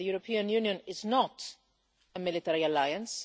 The European Union is not a military alliance.